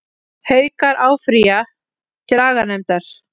Haukar áfrýja dómi aganefndar